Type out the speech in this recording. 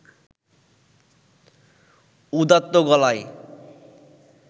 উদাত্ত গলায়